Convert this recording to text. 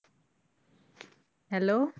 Hello